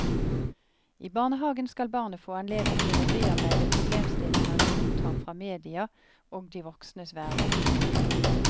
I barnehagen skal barnet få anledning til å bearbeide problemstillinger de mottar fra media og de voksnes verden.